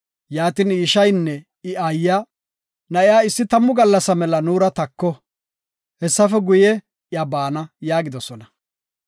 Yaatin I ishaynne I aayiya, “Na7iya issi tammu gallasa mela nuura tako, hessafe guye iya baana” yaagidosona.